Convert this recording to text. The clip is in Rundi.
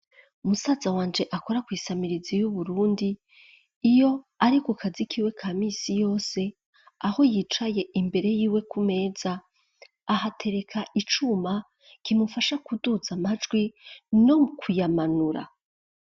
Musaza wanje, akora kw'isamirizi y'Uburundi; iyo ari ku kazi kiwe, ka minsi yose, aho yicaye, imbere yiwe, ku meza, ahatereka icuma, kimufasha kuduza amajwi, no kuyamanura.